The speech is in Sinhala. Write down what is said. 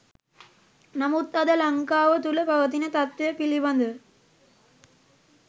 නමුත් අද ලංකාව තුළ පවතින තත්වය පිළිබ‍දව